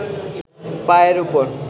পায়ের ওপর